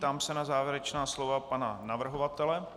Ptám se na závěrečná slova pana navrhovatele.